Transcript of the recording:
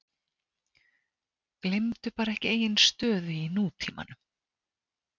Gleymdu bara ekki eigin stöðu í nútímanum.